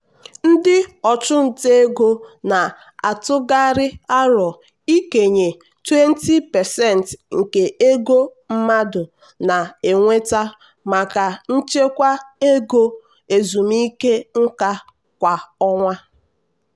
ndị ọchụnta ego na-atụkarị aro ikenye 20% nke ego mmadụ na-enweta maka nchekwa ego ezumike nka kwa ọnwa.